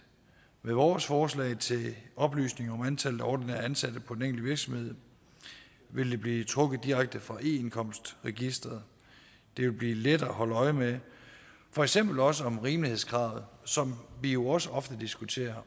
med vores forslag til oplysning om antallet af ordinært ansatte på den enkelte virksomhed vil det blive trukket direkte fra indkomstregisteret det vil blive lettere at holde øje med for eksempel også om rimelighedskravet som vi jo også ofte diskuterer